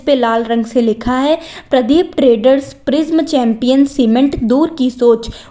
लाल रंग से लिखा है Pradeep traders Prism champion cement दूर की सोच उ--